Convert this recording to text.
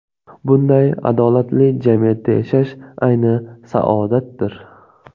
Bunday adolatli jamiyatda yashash ayni saodatdir.